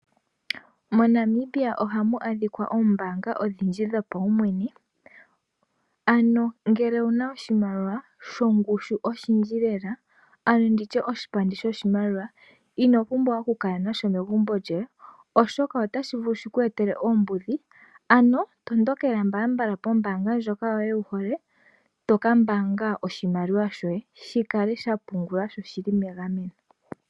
MoNamibia oha mu adhika oombaanga odhindji dhopaumwene, amo ngele owuna oshimaliwa, shongushu oshindji lela, ano ndi tye oshipandi sho shimaliwa, I o pumbwa oku kala nasho megumbo lyoye, oshoka ota shi vulu shi ku etele oombudhi, ano tondokela mbalambala pombaanga yoye ndjoka wu hole, to ka mbaaga oshimaliwa shoye, shi kale shapungulwa sho shili megameno.